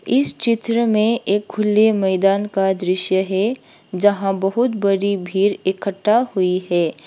इस चित्र में एक खुले मैदान का दृश्य है जहां बहुत बड़ी भीड़ इकट्ठा हुई है।